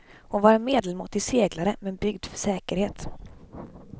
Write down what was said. Hon var en medelmåttig seglare, men byggd för säkerhet.